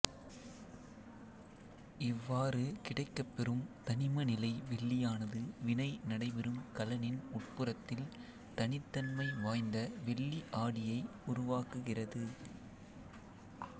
இவ்வாறு கிடைக்கப்பெறும் தனிம நிலை வெள்ளியானது வினை நடைபெறும் கலனின் உட்புறத்தில் தனித்தன்மை வாய்ந்த வெள்ளி ஆடியை உருவாக்குகிறது